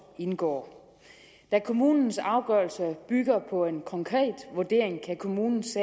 indgår da kommunens afgørelser bygger på en konkret vurdering kan kommunens